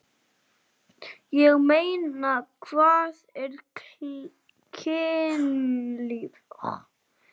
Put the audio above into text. Ég meina, hvað er kynlíf?